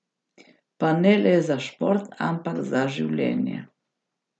Pa ne le za šport, ampak za življenje.